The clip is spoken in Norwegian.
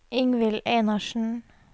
Ingvill Einarsen